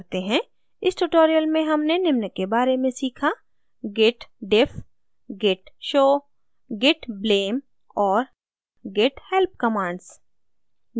इस tutorial में हमने निम्न के बारे में सीखा: